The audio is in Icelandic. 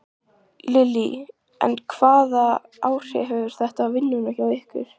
Lillý: En hvaða áhrif hefur þetta á vinnuna hjá ykkur?